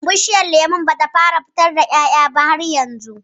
Bishiyar lemon ba ta fara fitar da ƴaƴa ba har yanzu